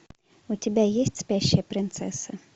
у тебя есть спящая принцесса